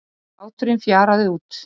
Hláturinn fjaraði út.